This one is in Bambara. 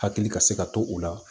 Hakili ka se ka to o la